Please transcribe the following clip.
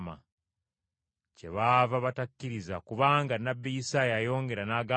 Kyebaava batakkiriza kubanga nnabbi Isaaya yayongera n’agamba nti,